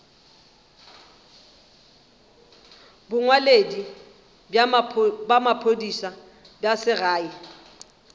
bongwaledi bja maphodisa bja segae